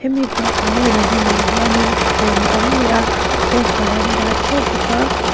hemi bakah hian a hnungah hianin thuthleng a awm leh a poster an dah ṭheuh bawk a--